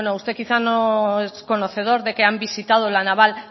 bueno usted quizá no es conocedor de que han visitado la naval